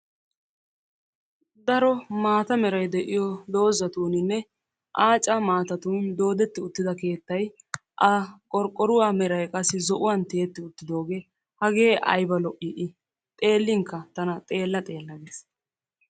Daro maata merayi de7iyo doozatuuninne aaca maatatun doodetti uttida keettayi a qorqqoruwa meray qassi zo7uwan tiyetti uttidoogee hagee ayiba lo7ii i xeelinkka tana xeella xeella ges.